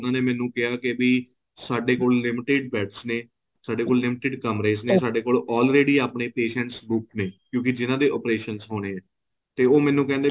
ਉਹਨਾਂ ਨੇ ਮੈਨੂੰ ਕਿਹਾ ਵੀ ਸਾਡੇ ਕੋਲ limited beds ਨੇ ਸਾਡੇ ਕੋਲ limited ਕਮਰੇਸ ਨੇ ਸਾਡੇ ਕੋਲ already ਆਪਣੇ patients ਬੁੱਕ ਨੇ ਕਿਉਂਕਿ ਜਿੰਨਾ ਦੇ operation ਹੋਣੇ ਹੈ ਤੇ ਉਹ ਮੈਨੂੰ ਕਹਿੰਦੇ